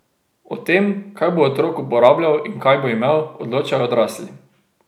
O tem, kaj bo otrok uporabljal in kaj bo imel, odločajo odrasli.